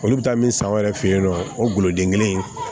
Olu bɛ taa min san u yɛrɛ fɛ yen nɔ o guloden kelen in